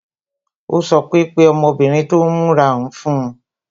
Ó sọ pé "Pe ọmọbìnrin tó mọ́ra hun fún mi"